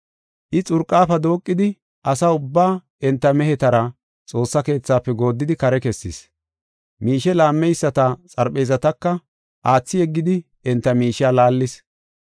I xurqafe dooqidi asaa ubbaa enta mehetara Xoossa Keethafe gooddidi kare kessis. Miishe laammeyisata xarpheezataka aathi yeggidi enta miishiya laallis.